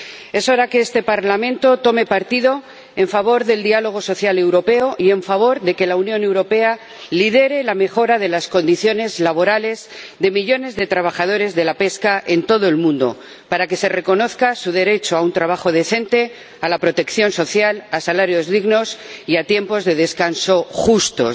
Es hora de que este Parlamento tome partido en favor del diálogo social europeo y en favor de que la Unión Europea lidere la mejora de las condiciones laborales de millones de trabajadores de la pesca en todo el mundo, para que se reconozca su derecho a un trabajo decente, a la protección social, a salarios dignos y a tiempos de descanso justos.